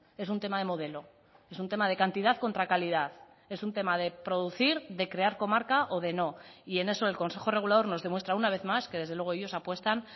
es un tema de modelo es un tema de cantidad contra calidad es un tema de producir de crear comarca o de no y en eso el consejo regulador nos demuestra una vez más que desde luego ellos apuestan